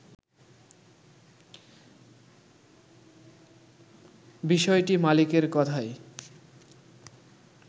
বিষয়টি মালিকের কথাই